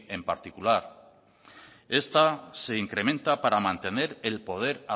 en particular esta se incrementa para mantener el poder